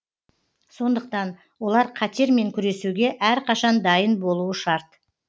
сондықтан олар қатермен күресуге әрқашан дайын болуы шарт